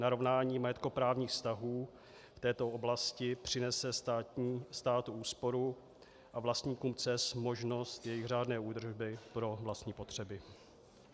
Narovnání majetkoprávních vztahů v této oblasti přinese státu úsporu a vlastníkům cest možnost jejich řádné údržby pro vlastní potřeby.